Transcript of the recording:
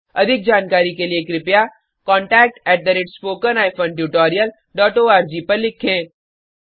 अधिक जानकारी के लिए contactspoken tutorialorg पर लिखें